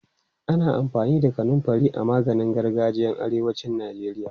Ana amfani da kanunfari a maganin gargajiyan arewacin Najeriya.